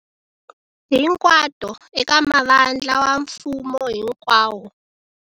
Hinkwato eka mavandla wa mfumo hi nkwawo.